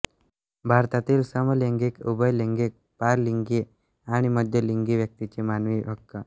भारतातील समलैंगिक उभयलैंगिक पारलिंगी आणि मध्यलिंगी व्यक्तींचे मानवी हक्क